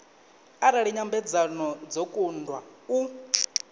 arali nyambedzano dzo kundwa u